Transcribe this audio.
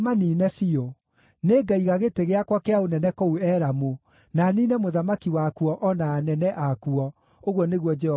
Nĩngaiga gĩtĩ gĩakwa kĩa ũnene kũu Elamu, na niine mũthamaki wakuo o na anene akuo,” ũguo nĩguo Jehova ekuuga.